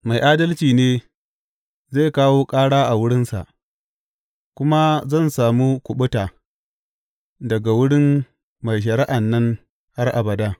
Mai adalci ne zai kawo ƙara a wurinsa, kuma zan samu kuɓuta daga wurin mai shari’an nan har abada.